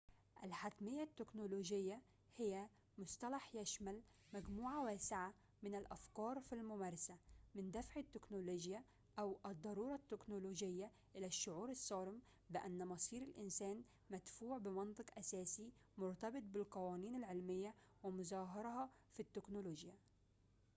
الحتمية التكنولوجية هي مصطلح يشمل مجموعة واسعة من الأفكار في الممارسة من دفع التكنولوجيا أو الضرورة التكنولوجية إلى الشعور الصارم بأن مصير الإنسان مدفوع بمنطق أساسي مرتبط بالقوانين العلمية ومظاهرها في التكنولوجيا